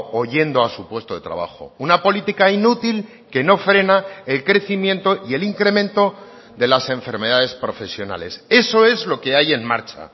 o yendo a su puesto de trabajo una política inútil que no frena el crecimiento y el incremento de las enfermedades profesionales eso es lo que hay en marcha